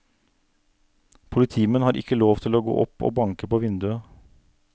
Politimenn har ikke lov til å gå opp og banke på vinduet.